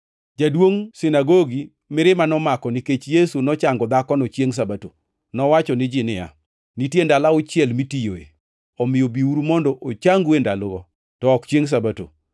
Jaduongʼ sinagogi, mirima nomako nikech Yesu nochango dhakono chiengʼ Sabato, nowacho ni ji niya, “Nitie ndalo auchiel mitiyoe. Omiyo biuru mondo ochangu e ndalogo, to ok chiengʼ Sabato.”